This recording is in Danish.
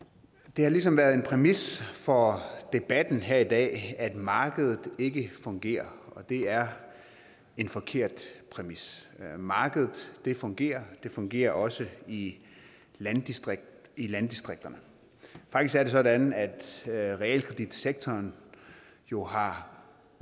det har ligesom været en præmis for debatten her i dag at markedet ikke fungerer og det er en forkert præmis markedet fungerer det fungerer også i landdistrikterne i landdistrikterne faktisk er det sådan at realkreditsektoren jo har